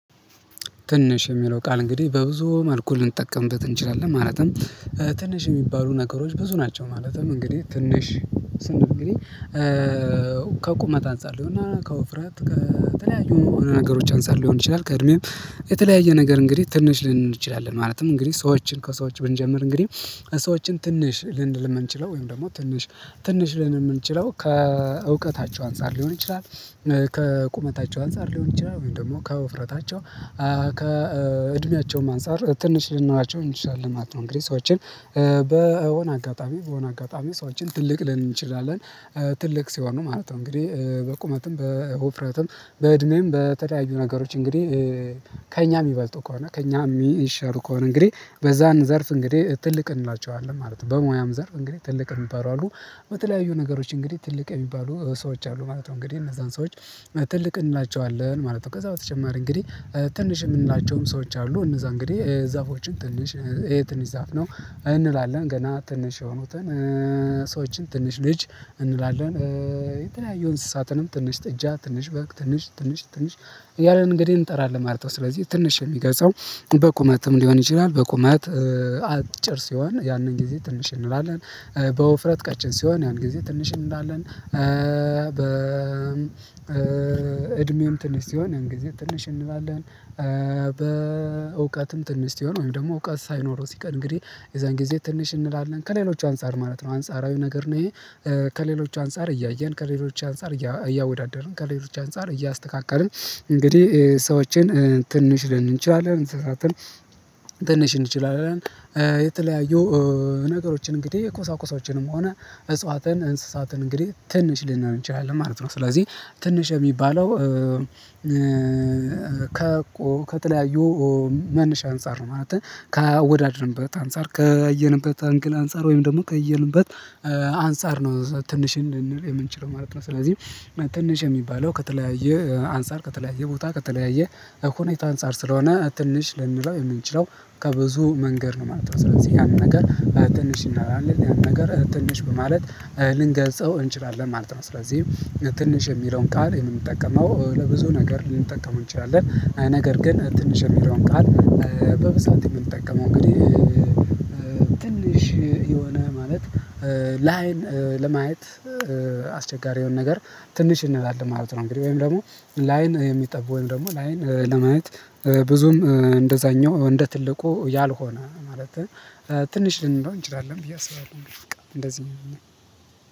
ትንሽ የሚለው ቃል እንግዲህ በብዙ መልኩ ልንጠቀምበት እንችላለን። ማለትም ትንሽ የሚባሉ ነገሮች ብዙ ናቸው። ማለትም እንግዲህ ትንሽ ስንል እንግዲህ ከቁመት አንፃር ይሆናል ከውፍረት ከተለያዩ ነገሮች አንፃር ሊሆን ይችላል፤ ከእድሜም የተለያየ ነገር እንግዲህ ትንሽ ልንል እንችላለን። ማለትም እንግዲህ ሰዎችን ከሰዎች ብንጀምር እንግዲህ ሰዎችን ትንሽ ልንል የምንችለው ወይም ደግሞ ትንሽ ትንሽ ልንል የምንችለው ከእውቀታቸው አንፃር ሊሆን ይችላል፤ ከቁመታቸው አንፃር ሊሆን ይችላል ወይም ደግሞ ከውፍረታቸው። ከእድሜያቸውም አንፃር ትንሽ ልንላቸው እንችላለን ማለት ነው። እንግዲህ ሰዎችን በሆነ አጋጣሚ በሆነ አጋጣሚ ሰዎችን ትልቅ ልንል እንችላለን። ትልቅ ሲሆኑ ማለት ነው። እንግዲህ በቁመትም በወፍረትም በእድሜም በተዳዩ ነገሮች እንግዲህ ከእኛ የሚበልጡ ከሆነ ከእኛ የሚሻሉ ከሆነ እንግዲህ በዛን ዘርፍ እንግዲህ ትልቅ እንላቸዋለን ማለት ነው። በሙያም ዘርፍ እንግዲህ ትልቅ የሚባሉ አሉ። በተለያዩ ነገሮች እንግዲህ ትልቅ የሚባሉ ሰዎች አሉ ማለት ነው። እንግዲህ እነዛን ሰዎች ትልቅ እንላቸዋለን ማለት ነው። ከዛ በተጨማሪ እንግዲህ ትንሽ የምንላቸውም ሰዎች አሉ። እነዛ እንግዲህ ዛፎችን ትንሽ ይሄ ትንሽ ዛፍ ነው እንላለን፤ ገና ትንሽ የሆኑትን ሰዎችን ትንሽ ልጅ እንላለን። የተለያየ እንስሳትንም ትንሽ ጥጃ ትንሽ በግ ትንሽ ትንሽ ትንሽ እያልን እንግዲህ እንጠራለን ማለት ነው። ስለዚህ ትንሽ የሚገልፀው በቁመትም ሊሆን ይችላል በቁመት አጭር ሲሆን ያንን ጊዜ ትንሽ እንላለን። በውፍረት ቀጭን ሲሆን ያንን ጊዜ ትንሽ እንላለን። በ እድሜውም ትንሽ ሲሆን እንግዲህ ትንሽ እንላለን። በእውቀትም ትንሽ ሲሆን ወይም ደግሞ እውቀት ሳይኖረው ሲቀር እንግዲህ የዛን ጊዜ ትንሽ እንላለን። ከሌሎች አንፃር ማለት ነው አንጻራዊ ነገር ነው ይሄ። ከሌሎች አንፃር እያየን ከሌሎች አንፃር እያወዳደርን ከሌሎች አንፃር እያስተካከልን እንግዲህ ሰዎችን ትንሽ ልንል እንችላለን። እንስሳትን ትንሽ ልንል እንችላለን። የተለያዩ ነገሮችን እንግዲህ የኮሳኮሳዎችንም ሆነ እጽዋትን እንስሳትን እንግዲህ ትንሽ ልንል እንችላለን ማለት ነው። ስለዚህ ትንሽ የሚባለው ከቆ ከተለያዩ መነሻ አንፃር ነው። ማለትም ካወዳደርንበት አንፃር ከለየንበት አንግል አንፃር ወይም ደግሞ ካየንበት አንፃር ነው ትንሽ የምንል የምንችለው ማለት ነው። ስለዚህ ትንሽ የሚባለው ከተለያየ አንፃር ከተለያየ ቦታ ከተለያየ ሁኔታ አንፃር ስለሆነ ትንሽ ልንለው የምንችለው ከብዙ መንገድ ነው ማለት ነው። ስለዚህ ያን ነገር ትንሽ እናላለን። ያን ነገር ትንሽ በማለት ልንገልጸው እንችላለን ማለት ነው። ስለዚህ ትንሽ የሚለውን ቃል የምንጠቀመው ለብዙ ነገር ልንጠቀመው እንችላለን። ነገር ግን ትንሽ የሚለውን ቃል በብዛት የምንጠቀመው እንግዲህ ትንሽ የሆነ ማለት ለአይን ለማየት አስቸጋሪ የሆነ ነገር ትንሽ እንላለን ማለት ነው። እንግዲህ ወይም ደግሞ ለአይን የሚጠቡ ወይም ደግሞ ለአይን ለማየት ብዙም እንደዛኛው እንደ ትልቁ ያልሆነ ማለትም ትንሽ ልንለው እንችላለን ብዬ አስባለሁ። እንግዲህ እንደዚህ ነው።